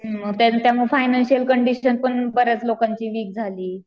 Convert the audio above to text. Financial condition पण बऱ्याच लोकांची वीक झाली.